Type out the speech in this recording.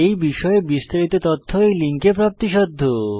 এই বিষয়ে বিস্তারিত তথ্য এই লিঙ্কে প্রাপ্তিসাধ্য